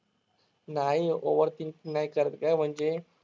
नाही ओव्हरथिंगकिंग नाही करत गं म्हणजे